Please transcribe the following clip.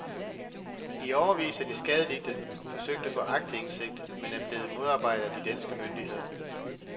I årevis har de skadelidte forsøgt at få aktindsigt, men er blevet modarbejdet af de danske myndigheder.